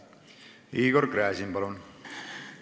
Igor Gräzin, palun!